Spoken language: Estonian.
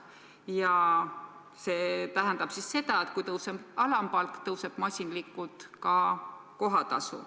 Ja see tähendab seda, et kui tõuseb alampalk, tõuseb masinlikult ka kohatasu.